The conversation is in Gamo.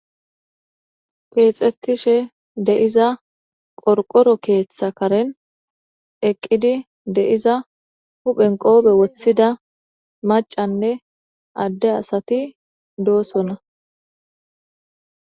Keexetishe de'iza qorqoro keetha karen eqqidi de'iza huphen qoofe woththida maccanne adde asati doosona.